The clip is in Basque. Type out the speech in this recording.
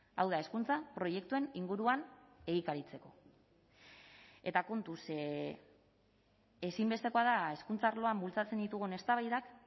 hau da hezkuntza proiektuen inguruan egikaritzeko eta kontuz ze ezinbestekoa da hezkuntza arloan bultzatzen ditugun eztabaidak